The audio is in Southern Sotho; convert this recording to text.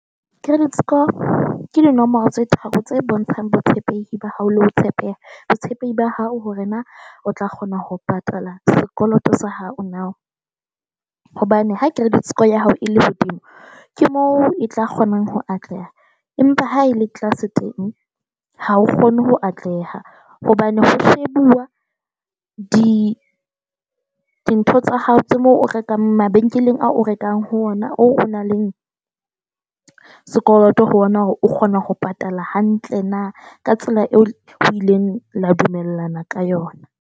Credit score ke dinomoro tse tharo tse bontshang botshepehi ba hao le ho tshepeha, botshepehi ba hao hore na o tla kgona ho patala sekoloto sa hao na. Hobane ha credit score ya hao e le hodimo, ke moo e tla kgona ho atleha, empa ha e le tlase teng ha o kgone ho atleha hobane ho February di dintho tsa hao tsa moo o rekang mabenkeleng a o rekang ho ona oo nang le sekoloto ho bona hore o kgona ho patala hantle na ka tsela eo o ileng la dumellana ka yona.